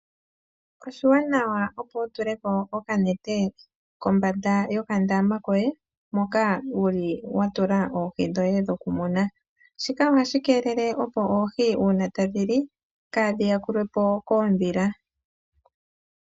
Oshiwanawa opo wiitulamo oka nete kombanda yoka ndama koye koohi dhoye dhoku muna. Shika ohashi keelele opo oohi uuna tadhi li kaadhi yakulwepo koodhila.